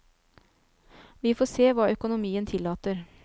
Vi får se hva økonomien tillater.